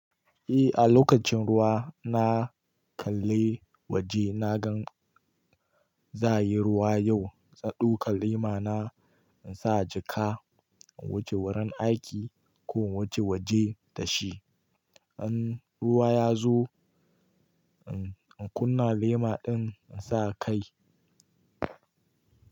Eh, a lokacin ruwa na kalle waje na gan za'a yi ruwa yau. Na ɗauka lema na in sa a jaka in wuce wurin aiki ko in wuce waje da shi. In ruwa ya zo, in kunna lema din in sa kai.